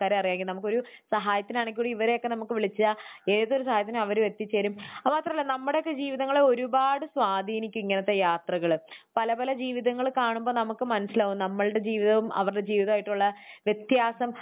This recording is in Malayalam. അറിയാമെങ്കിൽ. നമുക്കൊരു സഹായത്തിനാണെങ്കിൽ കൂടി ഇവരെയൊക്കെ നമുക്ക് വിളിച്ചാൽ ഏത് കാര്യത്തിനും അവർ എത്തിച്ചേരും. അത് മാത്രമല്ല. നമ്മുടെയൊക്കെ ജീവിതങ്ങളെ ഒരുപാട് സ്വാധീനിക്കും ഇങ്ങനത്തെ യാത്രകൾ. പല പല ജീവിതങ്ങൾ കാണുമ്പോൾ നമുക്ക് മനസ്സിലാകും നമ്മളുടെ ജീവിതവും അവരുടെ ജീവിതവും ആയിട്ടുള്ള വ്യത്യാസം.